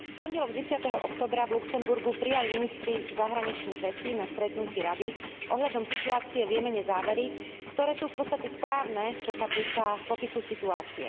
V pondelok 10. októbra v Luxemburgu prijali ministri zahraničných vecí na stretnutí Rady ohľadom situácie v Jemene závery, ktoré sú v podstate správne, čo sa týka popisu situácie.